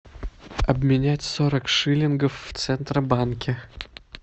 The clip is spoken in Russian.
обменять сорок шиллингов в центробанке